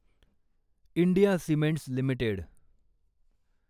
India cements limited